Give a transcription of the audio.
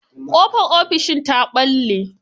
Ƙofar ofishin ta ɓalle.